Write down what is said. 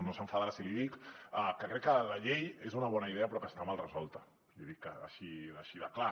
no s’enfadarà si l’hi dic que la llei és una bona idea però que està mal resolta l’hi dic així de clar